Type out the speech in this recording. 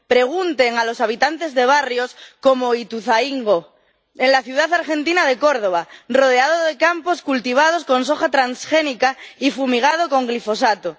Pregunten a los habitantes de barrios como Ituzaingó, en la ciudad argentina de Córdoba, rodeado de campos cultivados con soja transgénica y fumigados con glifosato.